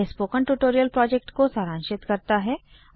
यह spoken tutorial project को सारांशित करता है